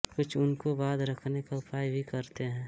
कुछ उनको बाँध रखने का उपाय भी करते हैं